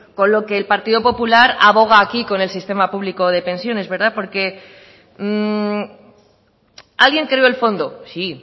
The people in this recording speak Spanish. con lo que el partido popular aboga aquí con el sistema público de pensiones porque alguien creó el fondo sí